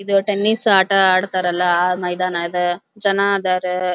ಇದು ಟೆನಿಸ್ ಆಟ ಅಡ್ತರಲ್ಲ ಆಹ್ಹ್ ಮೈದಾನ ಅದ ಜನ ಅದರ --